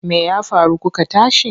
Me ya faru kuka tashi?